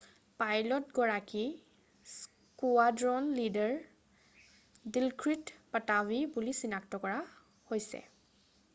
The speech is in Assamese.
পাইলটগৰাকী স্কুৱাড্ৰন লীডাৰ ডিলক্ৰিট পাটাভি বুলি চিনাক্ত কৰা হৈছে